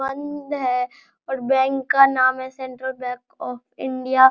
बंद है और बैंक का नाम है सेंट्रल बैंक ऑफ़ इंडिया ।